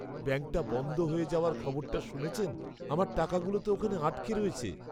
ব্যাঙ্কটা বন্ধ হয়ে যাওয়ার খবরটা শুনেছেন? আমার টাকাগুলো তো ওখানে আটকে রয়েছে।